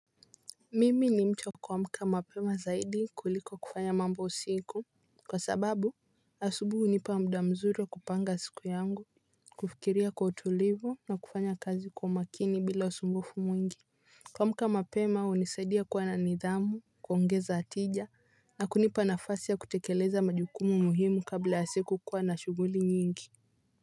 Mimi ni mtu wa kuamka mapema zaidi kuliko kufanya mambo usiku. Kwa sababu asubui unipa mda mzuri wa kupanga siku yangu kufikiria kwa utulivu na kufanya kazi kwa umakini bila usumbufu mwingi. Kwamka mapema unisaidia kuwa na nidhamu, kuongeza tija na kunipa nafasi ya kutekeleza majukumu muhimu kabla ya siku kuwa na shuguli nyingi.